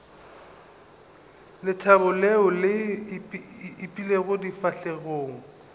lethabo leo le ipeilego difahlegong